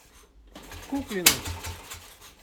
куклину